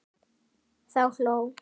Þá hló